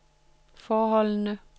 forholdene